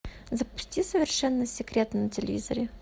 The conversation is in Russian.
запусти совершенно секретно на телевизоре